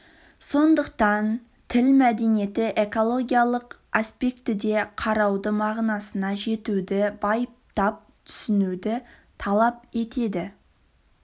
сондықтан тіл мәдениеті экологиялық аспектіде қарауды мағынасына жетуді байыптап түсінуді талап етеді